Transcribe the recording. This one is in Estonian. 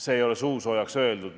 See ei ole suusoojaks öeldud.